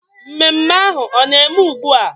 Mmemme ahu ọ na eme ugbua?